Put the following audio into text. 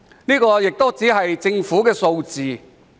然而，這只是政府的數字。